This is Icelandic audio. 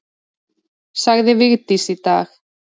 Sagði Vigdís í dag.